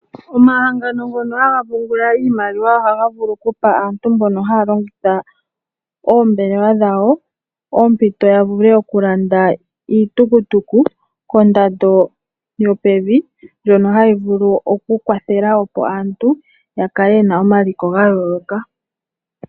Omahangano ngono haga pungula iimaliwa ohaga vulu okupa aantu mbono haya longitha oombelewa dhawo ompito ya vule okulanda iitukutuku kondando yopevi ndjono hayi vulu okukwathela opo aantu yakale yena omaliko ga yooloka.